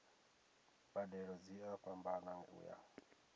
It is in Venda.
mbadelo dzi a fhambana uya